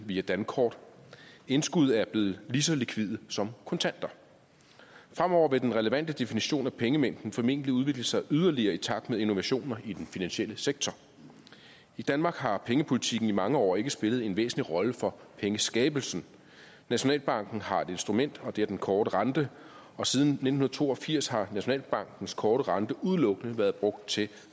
via dankort indskud er blevet lige så likvide som kontanter fremover vil den relevante definition af pengemængden formentlig udvikle sig yderligere i takt med innovationer i den finansielle sektor i danmark har pengepolitikken i mange år ikke spillet en væsentlig rolle for pengeskabelsen nationalbanken har et instrument og det er den korte rente og siden nitten to og firs har nationalbankens korte rente udelukkende været brugt til